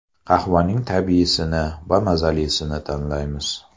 Qahvaning tabiiysini va mazalisini tanlaymiz.